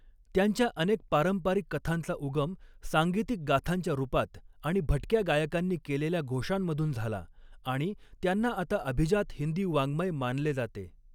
त्यांच्या अनेक पारंपारिक कथांचा उगम सांगीतिक गाथांच्या रुपात आणि भटक्या गायकांनी केलेल्या घोषांमधून झाला, आणि त्यांना आता अभिजात हिंदी वाङ्मय मानले जाते.